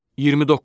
29.